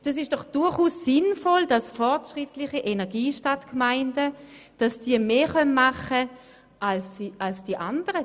Es ist doch durchaus sinnvoll, wenn fortschrittliche Energiestadtgemeinden mehr machen können als die anderen.